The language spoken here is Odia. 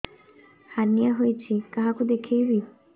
ହାର୍ନିଆ ହୋଇଛି କାହାକୁ ଦେଖେଇବି